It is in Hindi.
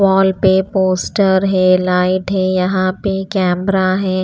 वाल पे पोस्टर है लाइट है यहाँ पे केमरा है।